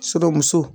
Suramuso